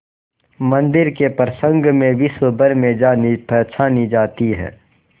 मंदिर के प्रसंग में विश्वभर में जानीपहचानी जाती है